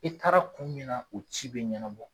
I taara kun min na o ci bɛ ɲɛnabɔ.